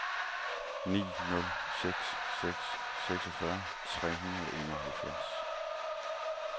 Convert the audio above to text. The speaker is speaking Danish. ni nul seks seks seksogfyrre tre hundrede og enoghalvfjerds